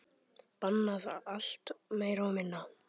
Bannað allt, meira og minna.